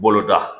Bolo da